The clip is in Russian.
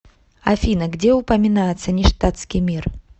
афина где упоминается ништадтский мир